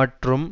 மற்றும்